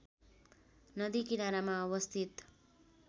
नदी किनारामा अवस्थित